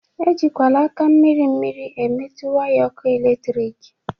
E jikwala aka mmiri mmiri emetu waya ọkụ eletrik!